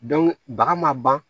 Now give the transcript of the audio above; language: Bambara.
baga ma ban